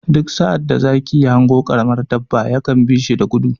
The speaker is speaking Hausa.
Duk sa'ad da zaki ya hango ƙaramin dabba ya kan bi shi da gudu.